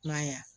Kuma ɲa